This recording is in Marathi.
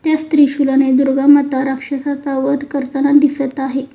त्याच त्रिशूलाने दुर्गा माता राक्षसाचा वध करताना दिसत आहे.